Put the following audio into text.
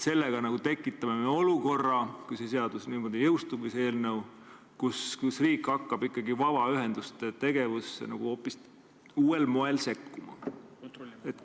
Sellega me tekitame olukorra – kui see seadus niimoodi jõustub –, kus riik hakkab ikkagi vabaühenduste tegevusse hoopis uuel moel sekkuma.